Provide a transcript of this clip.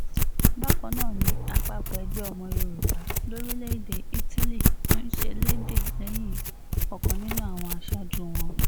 bákan náà ni àpapọ̀ ẹgbẹ́ ọmọ yorùbá lórílẹ̀‐èdè italy ń ṣẹlẹ́ẹ̀dẹ̀ lẹ́yìn ọ̀kan nínú àwọn aṣáájú wọn